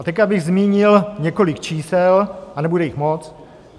A teď bych zmínil několik čísel a nebude jich moc.